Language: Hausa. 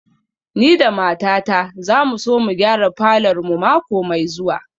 Ni da matata za mu so mu gyara falor mu mako mai zuwa